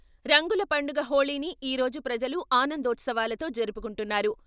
రంగుల పండుగ హోళీని ఈరోజు ప్రజలు ఆనందోత్సవాలతో జరుపుకుంటున్నారు.